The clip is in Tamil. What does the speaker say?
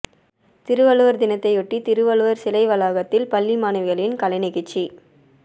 திருவள்ளுவர் தினத்தையொட்டி திருவள்ளுவர் சிலை வளாகத்தில் பள்ளி மாணவிகளின் கலை நிகழ்ச்சி